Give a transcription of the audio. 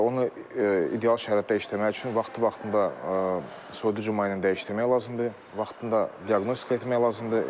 Və onu ideal şəraitdə işləməsi üçün vaxtı-vaxtında soyuducu maye ilə dəyişdirmək lazımdır, vaxtında diaqnostika etmək lazımdır.